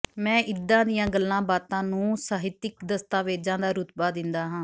ਮੈਂ ਇੱਦਾਂ ਦੀਆਂ ਗੱਲਾਂ ਬਾਤਾਂ ਨੂੰ ਸਹਿਤਕ ਦਸਤਾਵੇਜ਼ਾਂ ਦਾ ਰੁਤਬਾ ਦਿੰਦਾ ਹਾਂ